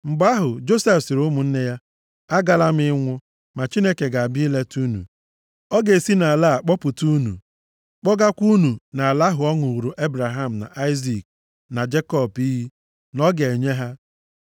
Mgbe ahụ, Josef sịrị ụmụnne ya, “Agala m ịnwụ, ma Chineke ga-abịa ileta unu. Ọ ga-esi nʼala a kpọpụta unu kpọgakwa unu nʼala ahụ ọ ṅụụrụ Ebraham na Aịzik na Jekọb iyi, na ọ ga-enye ha.”